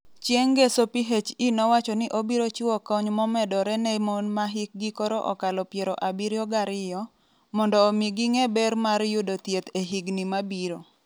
Chieng ' ngeso PHE nowacho ni obiro chiwo kony momedore ne mon ma hikgi koro okalo piero abirio gariyo, mondo omi ging'e ber mar yudo thieth e higini mabiro.